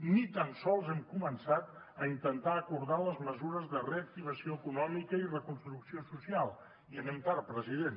ni tan sols hem començat a intentar acordar les mesures de reactivació econòmica i reconstrucció social i anem tard president